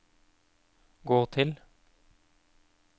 gå til